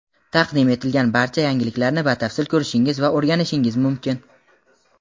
taqdim etilgan barcha yangiliklarni batafsil ko‘rishingiz va o‘rganishingiz mumkin.